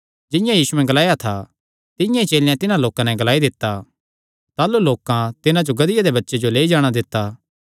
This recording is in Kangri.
जिंआं यीशुयैं ग्लाया था तिंआं ई चेलेयां तिन्हां लोकां नैं ग्लाई दित्ता ताह़लू लोकां तिन्हां जो लेई जाणा दित्ता